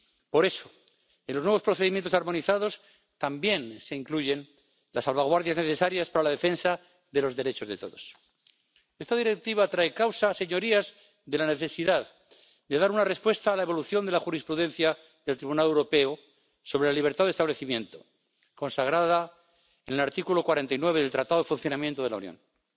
Por eso, en los nuevos procedimientos armonizados también se incluyen las salvaguardias necesarias para la defensa de los derechos de todos. Esta Directiva trae causa, señorías, de la necesidad de dar una respuesta a la evolución de la jurisprudencia del Tribunal Europeo sobre la libertad de establecimiento, consagrada en el artículo 49 del Tratado de Funcionamiento de la Unión Europea.